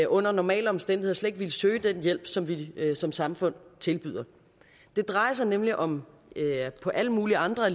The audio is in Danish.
under normale omstændigheder slet ikke ville søge den hjælp som vi som samfund tilbyder det drejer sig nemlig om på alle mulige andre